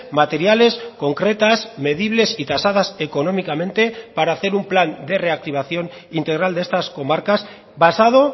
materiales concretas medibles y tasadas económicamente para hacer un plan de reactivación integral de estas comarcas basado